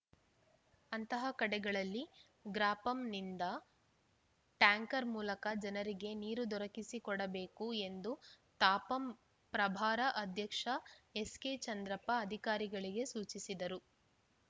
ಅಂತಹ ಕಡೆಗಳಲ್ಲಿ ಗ್ರಾಪಂನಿಂದ ಟ್ಯಾಂಕರ್‌ ಮೂಲಕ ಜನರಿಗೆ ನೀರು ದೊರಕಿಸಿಕೊಡಬೇಕು ಎಂದು ತಾಪಂ ಪ್ರಭಾರ ಅಧ್ಯಕ್ಷ ಎಸ್‌ಕೆಚಂದ್ರಪ್ಪ ಅಧಿಕಾರಿಗಳಿಗೆ ಸೂಚಿಸಿದರು